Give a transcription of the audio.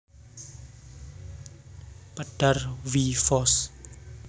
Pedar W Foss